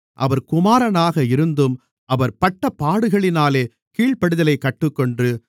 அவர் குமாரனாக இருந்தும் அவர் பட்டபாடுகளினாலே கீழ்ப்படிதலைக் கற்றுக்கொண்டு